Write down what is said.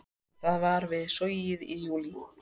Það var við Sogið í júlí.